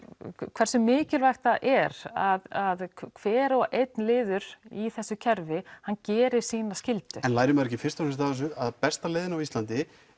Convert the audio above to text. hversu mikilvægt það er að hver og einn liður í þessu kerfi hann gerir sína skyldu en lærir maður ekki fyrst og fremst af þessu að besta leiðin á Íslandi